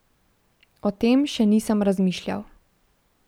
O tem še nisem razmišljal.